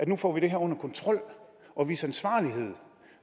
nu får det her under kontrol og vise ansvarlighed